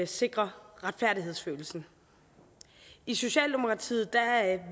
sikre retfærdighedsfølelsen i socialdemokratiet